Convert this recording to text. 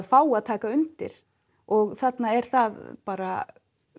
fá að taka undir og þarna er það bara